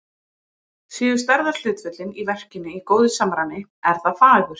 Séu stærðarhlutföllin í verkinu í góðu samræmi, er það fagurt.